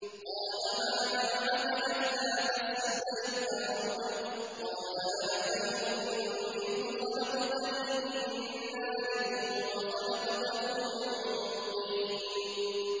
قَالَ مَا مَنَعَكَ أَلَّا تَسْجُدَ إِذْ أَمَرْتُكَ ۖ قَالَ أَنَا خَيْرٌ مِّنْهُ خَلَقْتَنِي مِن نَّارٍ وَخَلَقْتَهُ مِن طِينٍ